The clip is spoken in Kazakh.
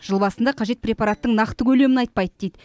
жыл басында қажет препараттың нақты көлемін айтпайды дейді